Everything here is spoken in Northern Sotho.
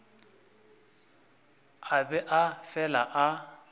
a be a fele a